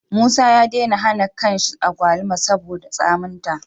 Musa ya dena han akwaluma saboda tsamin ta